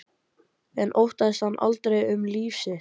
En óttaðist hann aldrei um líf sitt?